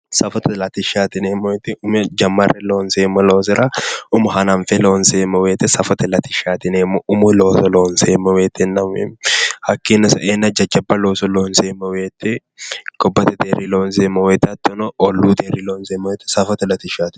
Safote latishshaati yineemmo woyiite umo jammarre lonseemmo loosira umo hananfe lonseemmo woyiite safote latishshaati yineemmo umo looso lonseemmo woyiitenna hakkiino saenna jajjabba looso lonseemmo woyiite gobbate deerri lonseemmo woyiite ollu deerri lonseemmo woyiite safote latishshaati yineemmo